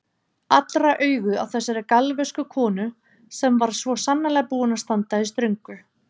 Allra augu á þessari galvösku konu sem var svo sannarlega búin að standa í ströngu.